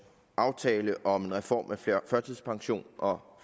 aftale om en reform af førtidspension og